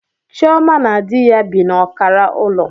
Chioma na di ya bi n'ọkara ulo